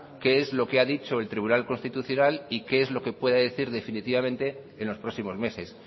qué es lo que ha dicho el tribunal constitucional y qué es lo que puede decir definitivamente en los próximos meses